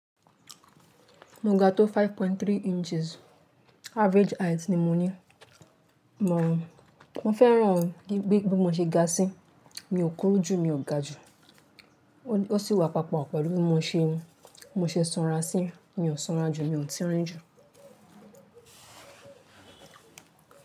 Mo ga tó five point three inches, average height ni mo ní. Màá rún, mo fẹ́ràn gi bi mo ṣe ga sí, mi ò kúrú jù, mi ò ga jù. Ó sì wà papọ̀ pẹ̀lú mo ṣe, mo ṣe sanra sí, mi ò sanra jù, mi ò tirin jù.